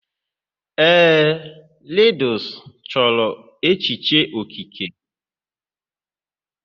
Ee, Riddles chọrọ echiche okike